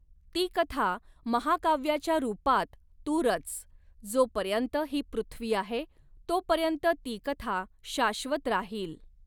ती कथा महाकाव्याच्या रूपात तू रच, जोपर्यंत ही पृथ्वी आहे, तोपर्यंत ती कथा शाश्वत राहील.